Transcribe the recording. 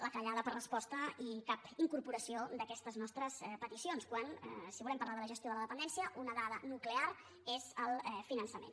la callada per resposta i cap incorporació d’aquestes nostres peticions quan si volem parlar de la gestió de la dependència una dada nuclear és el finançament